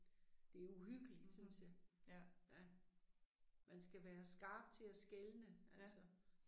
Det uhyggeligt synes jeg. Ja. Man skal være skarp til at skelne altså